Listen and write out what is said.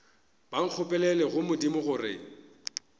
ba nkgopelele go modimo gore